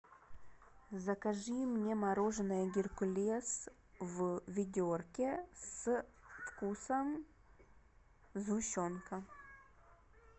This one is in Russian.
закажи мне мороженое геркулес в ведерке со вкусом сгущенка